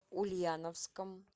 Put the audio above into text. ульяновском